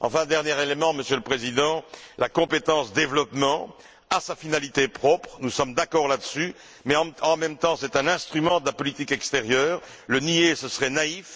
Enfin, dernier élément, Monsieur le Président, la compétence développement a sa finalité propre nous sommes d'accord là dessus mais en même temps, c'est un instrument de la politique extérieure. Le nier serait naïf.